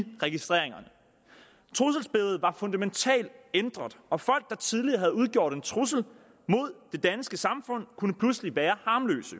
registreringerne trusselsbilledet var fundamentalt ændret og folk der tidligere havde udgjort en trussel mod det danske samfund kunne pludselig være harmløse